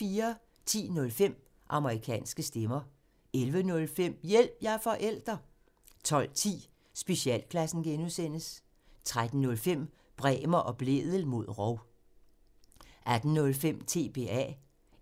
10:05: Amerikanske stemmer 11:05: Hjælp – jeg er forælder! 12:10: Specialklassen (G) 13:05: Bremer og Blædel mod rov 18:05: TBA